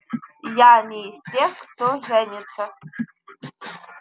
я не из тех кто женится